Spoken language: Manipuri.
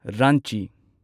ꯔꯥꯟꯆꯤ